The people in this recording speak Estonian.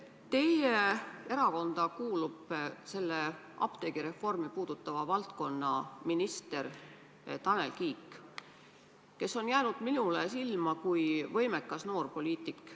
Teie erakonda kuulub apteegireformi valdkonnaminister Tanel Kiik, kes on jäänud minule silma kui võimekas noor poliitik.